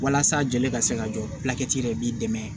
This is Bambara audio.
Walasa joli ka se ka jɔ yɛrɛ b'i dɛmɛ